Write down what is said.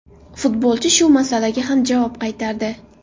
Futbolchi shu masalaga ham javob qaytardi.